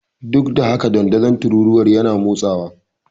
Duk da haka, dandazon tururuwar yana motsawa.